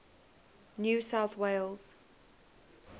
new south wales